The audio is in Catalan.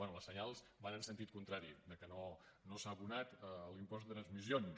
bé els senyals van en sentit contrari que no s’ha abonat l’impost de transmissions